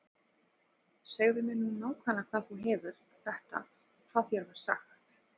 Segðu mér nú nákvæmlega hvaðan þú hefur þetta og hvað þér var sagt.